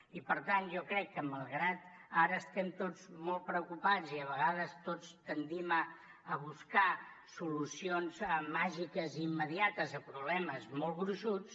i per tant jo crec que malgrat que ara estem tots molt preocupats i a vegades tots tendim a buscar solucions màgiques i immediates a problemes molt gruixuts